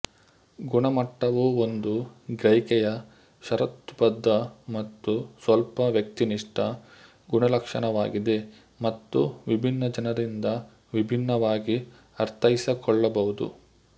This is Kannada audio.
ಗುಣಮಟ್ಟವು ಒಂದು ಗ್ರಹಿಕೆಯ ಷರತ್ತುಬದ್ಧ ಮತ್ತು ಸ್ವಲ್ಪ ವ್ಯಕ್ತಿನಿಷ್ಠ ಗುಣಲಕ್ಷಣವಾಗಿದೆ ಮತ್ತು ವಿಭಿನ್ನ ಜನರಿಂದ ವಿಭಿನ್ನವಾಗಿ ಅರ್ಥೈಸಿಕೊಳ್ಳಬಹುದು